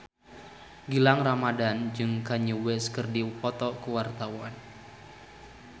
Gilang Ramadan jeung Kanye West keur dipoto ku wartawan